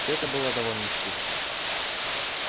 всё это было довольно скучно